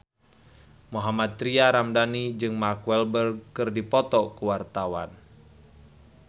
Mohammad Tria Ramadhani jeung Mark Walberg keur dipoto ku wartawan